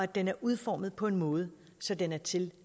den er udformet på en måde så den er til